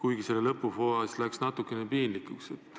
Aga lõpupoole läks see natukene piinlikuks.